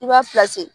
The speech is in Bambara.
I b'a